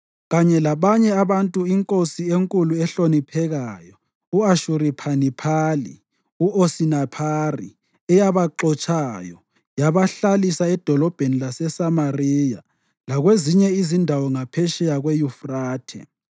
kanye labanye abantu inkosi enkulu ehloniphekayo u-Ashuribhaniphali (u-Osinaphari) eyabaxotshayo yayabahlalisa edolobheni laseSamariya lakwezinye izindawo ngaphetsheya kweYufrathe.